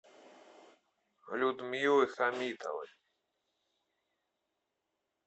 людмилы хамитовой